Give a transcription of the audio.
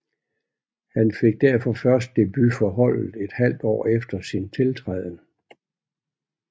Han fik derfor først debut for holdet et halvt år efter sin tiltræden